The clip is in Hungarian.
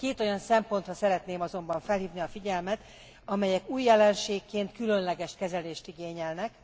Két olyan szempontra szeretném azonban felhívni a figyelmet, amelyek új jelenségként különleges kezelést igényelnek.